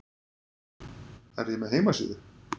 Er ég með heimasíðu?